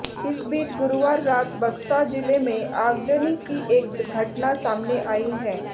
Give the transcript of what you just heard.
इस बीच गुरुवार रात बक्सा जिले में आगजनी की एक घटना सामने आई है